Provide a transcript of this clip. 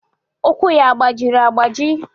Ụkwụ ya agbajiri agbaji?